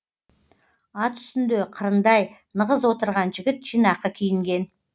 ат үстінде қырындай нығыз отырған жігіт жинақы киінген